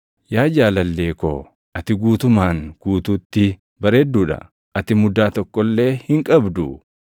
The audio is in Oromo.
Yaa jaalallee ko, ati guutumaan guutuutti bareedduu dha; ati mudaa tokko illee hin qabdu.